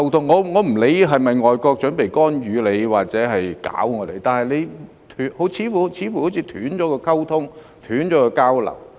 我不管外國是否準備干預或搞我們，但政府似乎是斷了溝通和交流。